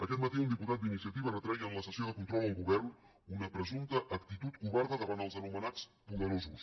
aquest matí un diputat d’iniciativa retreia en la sessió de control al govern una presumpta actitud covarda davant els anomenats poderosos